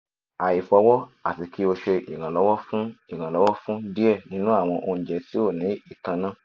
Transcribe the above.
aifọwọ ati ki o ṣe iranlọwọ fun iranlọwọ fun diẹ ninu awọn ounjẹ ti o ni itanna